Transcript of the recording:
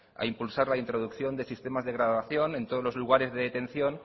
a impulsar la introducción de sistemas de grabación en todos los lugares de detención